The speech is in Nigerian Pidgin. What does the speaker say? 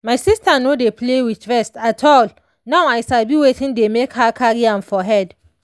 my sister no dey play with rest at all now i sabi wetin dey make her carry am for head.